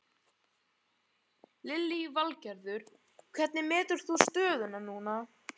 Lillý Valgerður: Hvernig metur þú stöðuna núna?